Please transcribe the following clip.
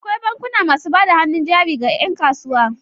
Akwai bankuna masu bada hannun jari ga 'yankasuwa.